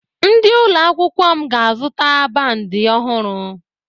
Ndị ụlọ akwụkwọ m ga-azụta bandi ọhụrụ